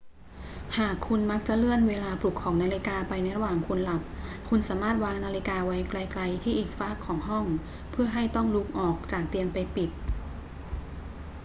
หากคุณมักจะเลื่อนเวลาปลุกของนาฬิกาไปในระหว่างหลับ คุณสามารถวางนาฬิกาไว้ไกล ๆ ที่อีกฟากของห้อง เพื่อให้ต้องลุกออกจากเตียงไปปิด